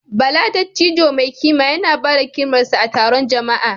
Bala, dattijo mai kima, yana ba da hikimarsa a taron jama’a.